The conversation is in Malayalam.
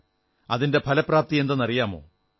അതിന്റെ ഫലപ്രാപ്തിയെന്തെന്നറിയാമോ